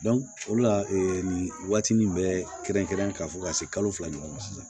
o la nin waati nin bɛ kɛrɛnkɛrɛnnen ka fɔ ka se kalo fila ɲɔgɔn ma sisan